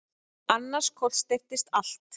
Annars kollsteypist allt.